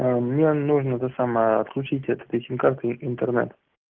аа мне нужно это самая отключить от этой сим-кары интернет